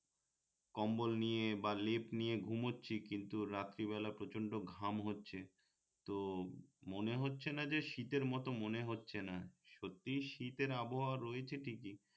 কম্বল নিয়ে বা লেপ নিয়ে ঘুমোচ্ছি কিন্ত রাত্রে বেলা প্রচন্ড ঘাম হচ্ছে তো মনে হচ্ছে না যে শীতের মত মনে হচ্ছে না সত্যিই শীতের আবহাওয়া রয়েছে ঠিকই